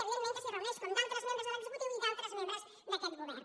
evidentment que s’hi reuneix com d’altres membres de l’executiu i d’altres membres d’aquest govern